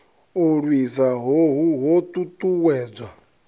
u lwisa hohu ho ṱuṱuwedzwa